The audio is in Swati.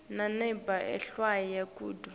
nanobe ehlwaya kodvwa